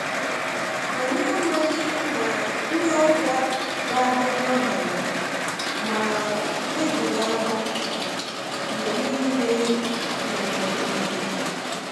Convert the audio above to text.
Anyị amaghi na ndị ọbịa ga-abịa n’abalị a, ma tebụlụ ahụ mgbe niile nwere ohere.